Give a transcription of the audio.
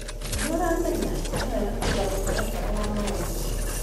Nĩ ũramenya, nĩ wega kũiga mũtaratara wa maũndũ.